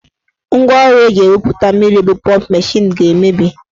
Ngwaọrụ eji ewupụta mmiri bụ pọmp mashin ga-emebi.